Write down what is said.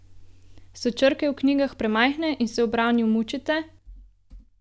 So črke v knjigah premajhne in se ob branju mučite?